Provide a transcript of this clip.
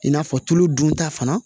I n'a fɔ tulu dunta fana